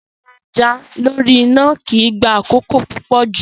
Yíyan ẹja lórí iná kì í gba àkókò púpọ̀ jù.